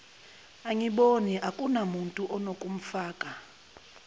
angiboni akunamuntu unokumfaka